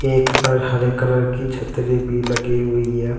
एक पर हरे कलर की छतरी भी लगी हुई है।